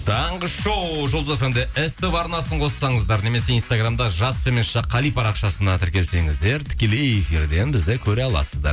таңғы шоу жұлдыз фм де ств арнасын қоссаңыздар немесе инстаграмда жас қали парақшасына тіркелсеңіздер тікелей эфирден бізді көре аласыздар